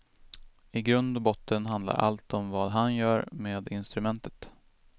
I grund och botten handlar allt om vad han gör med instrumentet.